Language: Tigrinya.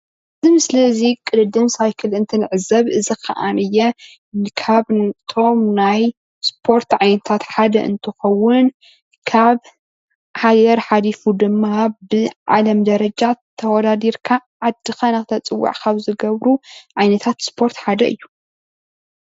እዚ ምስሊ እዚ ቅድድም ሳይክል እንትንዕዘብ እዚ ክዓኒየ ካብቶም ናይ እስፖርት ዓይነታት ሓደ እንትኸዉን ካብ ኣየር ሓሊፉ ድማ ብዓለም ደረጃ ተወዳዲርካ ዓድኻ ንክተፀዉዕ ካብ ዝገብሩ ዓይነታት እስፖርት ሓደ እዩ።